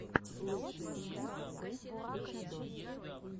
лучшая часть бэст лючадорс